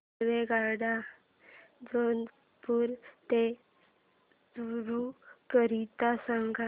रेल्वेगाड्या जोधपुर ते चूरू करीता सांगा